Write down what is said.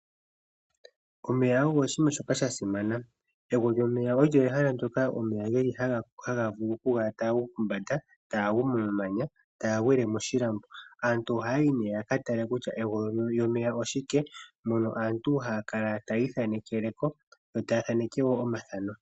Omeya ogo oshinima shoka sha simana. Egwo lyomeya olyo ehala ndyoka omeya ge li haga vulu okukala taga gu mombanda taga gu komamanya taga gwile moshilambo. Aantu ohaya yi nee ya ka tale kutya egwo lyomeya oshike mono aantu haya kala taya ithanekele ko yo taya thaneke wo omathano.